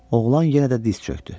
Oğlan yenə də diz çökdü.